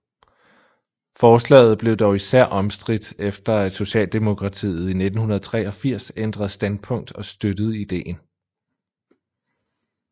Forslaget blev dog især omstridt efter at Socialdemokratiet i 1983 ændrede standpunkt og støttede ideen